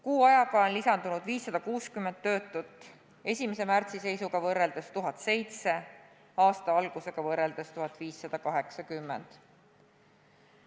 Kuu ajaga on lisanud 560 töötut, 1. märtsi seisuga võrreldes on neid lisandunud 1007, aasta alguse omaga võrreldes 1580.